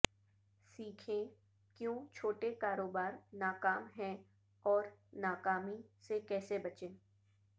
سیکھیں کیوں چھوٹے کاروبار ناکام ہیں اور ناکامی سے کیسے بچیں